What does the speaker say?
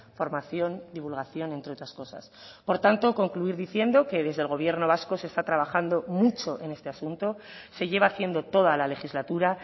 formación divulgación entre otras cosas por tanto concluir diciendo que desde el gobierno vasco se está trabajando mucho en este asunto se lleva haciendo toda la legislatura